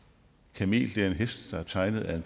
kamel er en hest der er tegnet af